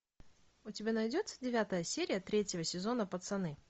у тебя найдется девятая серия третьего сезона пацаны